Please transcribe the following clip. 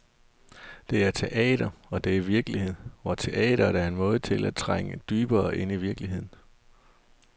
Det er teater og det er virkelighed, hvor teatret er en måde til at trænge dybere ind i virkeligheden.